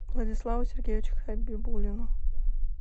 владиславу сергеевичу хабибуллину